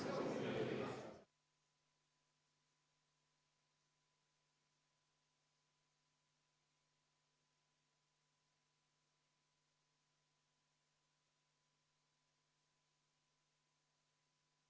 Head kolleegid, vaheaeg on lõppenud, jätkame täiskogu istungit.